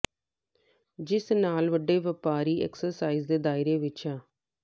ਜਿਸ ਨਾਲ ਵੱਡੇ ਵਪਾਰੀ ਐਕਸਾਈਜ਼ ਦੇ ਦਾਇਰੇ ਵਿਚ ਆ